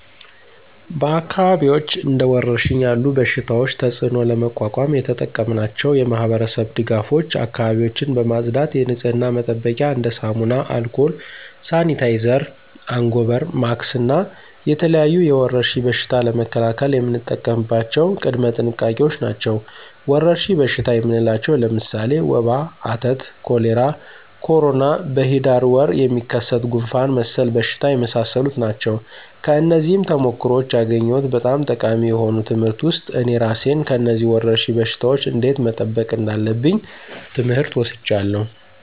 በአካባቢዎች እንደ ወረርሽኝ ያለ በሽታቸው ተፅእኖ ለመቋቋም የተጠቀምናቸው የማህበረሰብ ድጋፎች አካባቢዎችን በማፅዳት የንፅህና መጠበቂያ እንደ ሳሙና፣ አልኮል፣ ሳኒታይዘር፣ አንጎበር፣ ማክስ እና የተለያዩ የወረርሽኝ በሽታ ለመከላከል የምንጠቀምባቸው ቅድመ ጥንቃቄዎች ናቸው። ወረርሽኝ በሽታ የምንላቸው ለምሳሌ ወባ፣ አተት፣ ኮሌራ፣ ኮሮና፣ በሂዳር ወር የሚከሰት ጉንፍን መሰል በሽታዎች የመሳሰሉ ናቸው። ከነዚህም ተሞክሮዎች ያገኘሁት በጣም ጠቃሚ የሆኑ ትምህርት ውስጥ እኔ እራሴን ከነዚህ ወረርሽኝ በሽታወች እንዴት መጠበቅ እንዳለብኝ ትምህር ወስጃለሁ።